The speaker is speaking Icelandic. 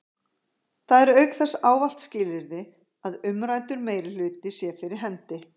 Það er auk þess ávallt skilyrði að umræddur meirihluti sé fyrir hendi.